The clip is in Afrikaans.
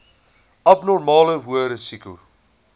abnormale hoë risiko